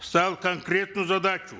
ставил конкретную задачу